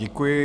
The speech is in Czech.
Děkuji.